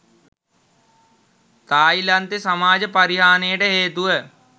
තායිලන්තේ සමාජ පරිහානියට හේතුව